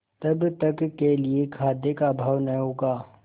तब तक के लिए खाद्य का अभाव न होगा